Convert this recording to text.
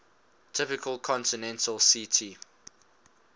tropical continental ct